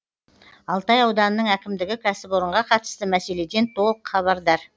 алтай ауданының әкімдігі кәсіпорынға қатысты мәселеден толық хабардар